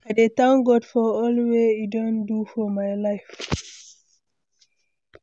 I dey thank God for all wey e don do for my life.